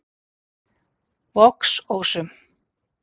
Vogsósum